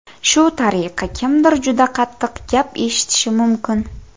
Shu tariqa, kimdir juda qattiq gap eshitishi mumkin.